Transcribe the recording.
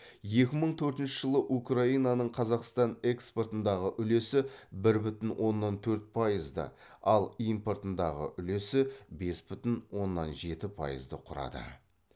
екі мың төртінші жылы украинаның қазақстан экспортындағы үлесі бір бүтін оннан төрт пайызды ал импортындағы үлесі бес бүтін оннан жеті пайызды құрады